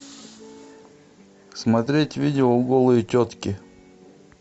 смотреть видео голые тетки